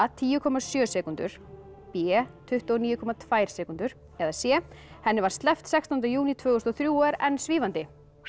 tíu komma sjö sekúndur b tuttugu og níu komma tvær sekúndur eða c henni var sleppt sextánda júní tvö þúsund og þrjú og er enn svífandi